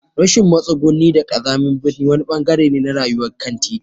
Rashin matsuguni da ƙazamin birni wani ɓangare ne na rayuwar kantiti.